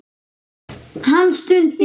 Hann stundi.